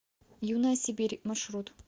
юная сибирь маршрут